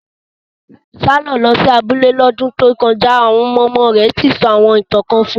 Taye lọ sí abúlé lọ́dún tó kọjá ọmọ-ọmọ rẹ̀ sì sọ àwọn ìtàn kan fún un